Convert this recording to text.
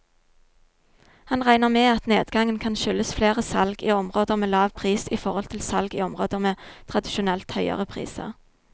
Han regner med at nedgangen kan skyldes flere salg i områder med lav pris i forhold til salg i områder med tradisjonelt høyere priser.